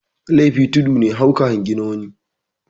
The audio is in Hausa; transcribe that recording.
Laifi tudu ne ka hau ka hangi na wani